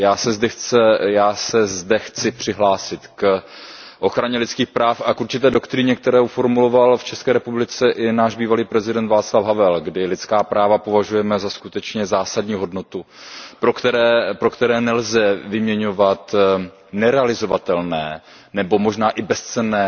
Já se zde chci přihlásit k ochraně lidských práv a k určité doktríně, kterou formuloval v České republice i náš bývalý prezident Václav Havel, kdy lidská práva považujeme za skutečně zásadní hodnotu, za kterou které nelze vyměňovat nerealizovatelné nebo možná i bezcenné